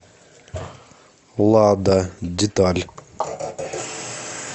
лада деталь